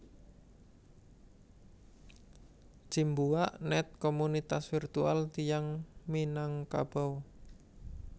Cimbuak net Komunitas virtual tiyang Minangkabau